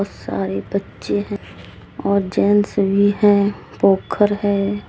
सारे बच्चे है और जेंट्स भी है पोखर है।